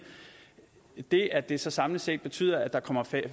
det at det så samlet set betyder at der kommer